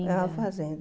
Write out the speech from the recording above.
Era uma fazenda.